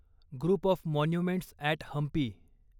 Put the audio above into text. group of monuments at Hampi